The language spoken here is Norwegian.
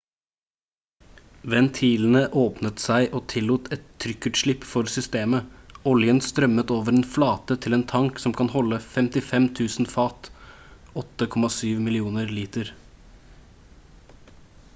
ventilene åpnet seg og tillot et trykkutslipp for systemet oljen strømmet over en flate til en tank som kan holde 55 000 fat 8,7 millioner liter